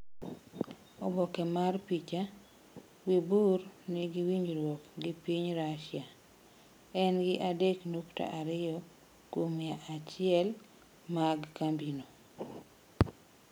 Oboke mar picha: Wibur nigi winjruok gi piny Rusia En gi adek nukta ariyo kuom mia achiel mag kambino.